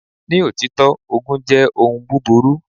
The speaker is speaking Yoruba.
Ni òtítọ́, ogun jẹ́ ohun búburú.